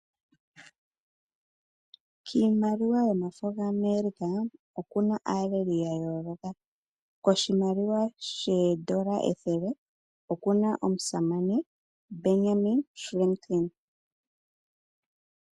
Kiimaliwa yomafo gAmerica oku na aaleli ya yooloka. Koshimaliwa shoodola ethele okuna omusamane Benyamin Franklin.